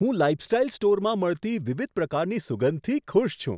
હું લાઈફસ્ટાઈલ સ્ટોરમાં મળતી વિવિધ પ્રકારની સુગંધથી ખુશ છું.